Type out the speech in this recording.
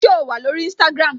So wà lórí Instagram?